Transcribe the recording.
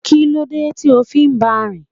Kílódé tí o fi ń ba rìn?